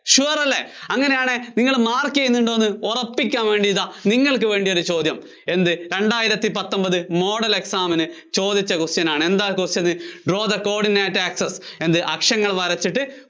sure അല്ലേ? അങ്ങിനെയാണെങ്കില്‍ നിങ്ങള്‍ mark ചെയ്യുന്നുണ്ടെന്ന് ഉറപ്പിക്കാന്‍ വേണ്ടിയിതാ നിങ്ങള്‍ക്ക് വേണ്ടി ഒരു ചോദ്യം. എന്ത് രണ്ടായിരത്തി പത്തൊന്‍പത് model exam ന് ചോദിച്ച question ആണ്. എന്താ question? draw the coordinate acces എന്ത് അക്ഷങ്ങള്‍ വരച്ചിട്ട്